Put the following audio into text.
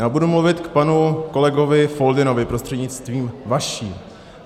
Já budu mluvit k panu kolegovi Foldynovi prostřednictvím vaším.